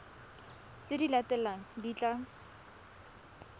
tse di latelang di tla